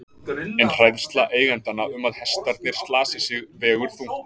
En hræðsla eigendanna um að hestarnir slasi sig vegur þungt.